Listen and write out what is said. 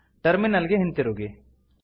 terminal ಗೆ ಹಿಂತಿರುಗಿ